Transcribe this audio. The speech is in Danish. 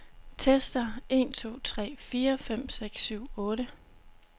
Tester en to tre fire fem seks syv otte.